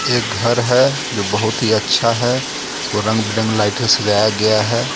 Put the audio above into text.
एक घर है जो बहोत ही अच्छा है उसको रंग-बिरंगे लाइट से सजाया गया है.